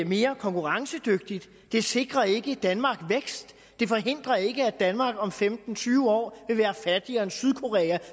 mere konkurrencedygtig det sikrer ikke danmark vækst det forhindrer ikke at danmark om femten til tyve år vil være fattigere end sydkorea